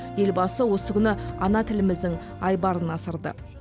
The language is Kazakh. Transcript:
елбасы осы күні ана тіліміздің айбарын асырды